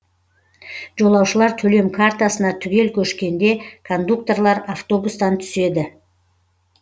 жолаушылар төлем картасына түгел көшкенде кондукторлар автобустан түседі